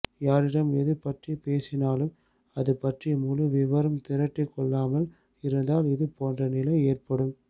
யாரிடம் எது பற்றி பேசினாலும் அது பற்றி முழு விபரம் திரட்டிக் கொள்ளாமல் இருந்தால் இது போன்ற நிலை ஏற்படும்